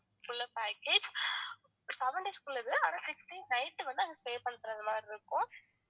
பண்றது மாதிரி இருக்கும்